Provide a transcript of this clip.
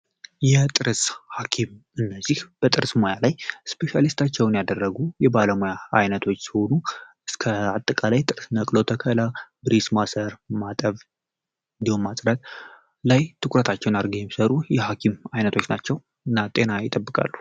የጥርስ ሀኪም እነዚህ በጥርስ ሙያ ላይ ስፔሻሊስት ያደረጉ የባለሙያ አይነቶች ሲሆኑ አጠቃላይ በጥርስ ህክምና ላይ ነቅሎ ተከላ፣ ብሬስ ማሰር ፣ማጠብ እንዲሁም መትከል ላይ ትኩረታቸውን አድርገው የሚሰሩ የሀኪም አይነቶች ናቸው። እና ጤና ይጠብቃሉ።